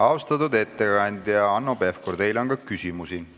Austatud ettekandja Hanno Pevkur, teile on ka küsimusi.